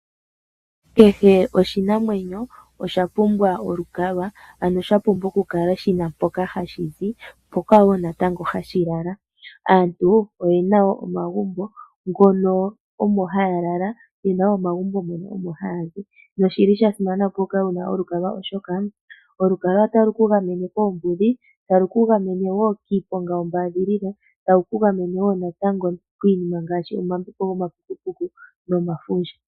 Kehe oshinamwenyo osha pumbwa olukalwa, ano sha pumbwa okukala shi na mpoka hashi zi mpoka wo natango hashi lala. Aantu oye na wo omagumbo ngono omo haa lala, ye na omagumbo mono haya zi nosha simana, opo wu kale wu na olukalwa, oshoka olukalwa otalu ku gamene koombudhi, talu ku gamene wo kiiponga yombaadhilila, talu ku gamene wo natango kiinima ngaashi omambepo gomapukupuku omafundja.